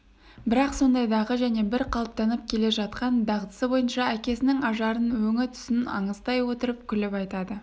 бірақ сондайдағы және бір қалыптанып келе жатқан дағдысы бойынша әкесінің ажарын өңі-түсін аңыстай отырып күліп айтады